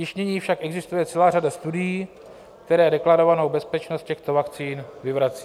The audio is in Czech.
Již nyní však existuje celá řada studií, které deklarovanou bezpečnost těchto vakcín vyvrací.